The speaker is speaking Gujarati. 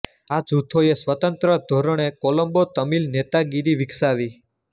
આ જૂથોએ સ્વતંત્ર ધોરણે કોલમ્બો તમિલ નેતાગીરી વિકસાવી